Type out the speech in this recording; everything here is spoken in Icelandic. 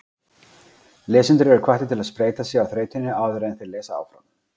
Lesendur eru hvattir til að spreyta sig á þrautinni áður en þeir lesa áfram.